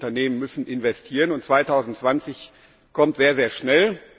Die Unternehmen müssen investieren, und 2020 kommt sehr schnell.